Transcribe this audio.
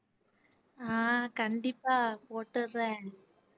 ஆஹ் கண்டிப்பா போட்டுர்றேன்